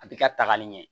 A bi ka tagali ɲɛ